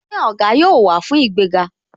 Ṣé Ògá yóò wá fún ìgbéga?